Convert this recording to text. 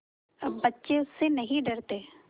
अब बच्चे उससे नहीं डरते